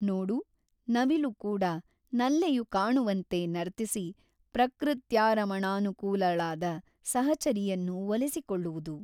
ನೋಡು ನವಿಲು ಕೂಡ ನಲ್ಲೆಯು ಕಾಣುವಂತೆ ನರ್ತಿಸಿ ಪ್ರಕೃತ್ಯಾರಮಣಾನುಕೂಲಳಾದ ಸಹಚರಿಯನ್ನು ಒಲಿಸಿಕೊಳ್ಳುವುದು.